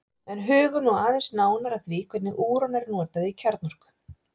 en hugum nú aðeins nánar að því hvernig úran er notað í kjarnorku